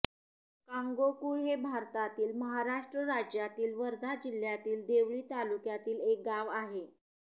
कांगोकुळ हे भारतातील महाराष्ट्र राज्यातील वर्धा जिल्ह्यातील देवळी तालुक्यातील एक गाव आहे